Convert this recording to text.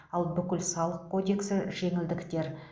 ал бүкіл салық кодексі жеңілдіктер